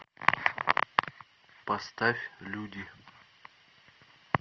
поставь люди